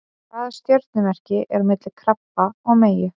Hvaða stjörnumerki er á milli krabba og meyju?